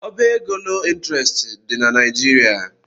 Ọbá égo loo ịntrestị dị na Naịjirịa.